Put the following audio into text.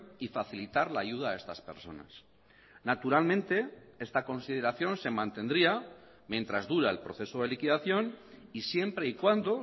y facilitar la ayuda a estas personas naturalmente esta consideración se mantendría mientras dura el proceso de liquidación y siempre y cuando